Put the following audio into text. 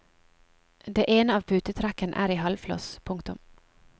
Det ene av putetrekkene er i halvfloss. punktum